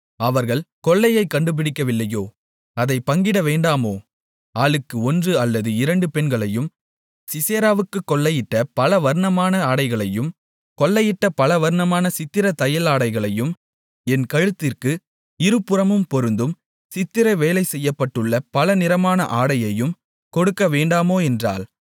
அவர்கள் கொள்ளையைக் கண்டுபிடிக்கவில்லையோ அதைப் பங்கிடவேண்டாமோ ஆளுக்கு ஒன்று அல்லது இரண்டு பெண்களையும் சிசெராவுக்குக் கொள்ளையிட்ட பலவர்ணமான ஆடைகளையும் கொள்ளையிட்ட பலவர்ணமான சித்திரத் தையலாடைகளையும் என் கழுத்திற்கு இருபுறமும் பொருந்தும் சித்திர வேலை செய்யப்பட்டுள்ள பலநிறமான ஆடையையும் கொடுக்கவேண்டாமோ என்றாள்